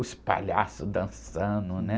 Os palhaços dançando, né?